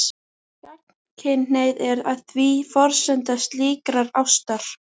Gagnkynhneigð er því forsenda slíkrar ástar.